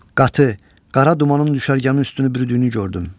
Qatı, qara dumanın düşərgəmin üstünü bürüdüyünü gördüm.